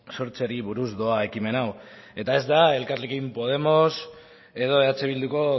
sortzeari buruz doa ekimen hau eta ez da elkarrekin podemos edo eh bilduko